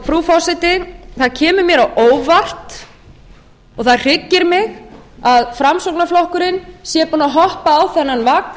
frú forseti það kemur mér á óvart og það hryggir mig að framsóknarflokkurinn sé búinn að hoppa á þennan vagn